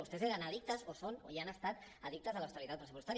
vostès eren addictes o ho són o ho han estat addictes a l’austeritat pressupostària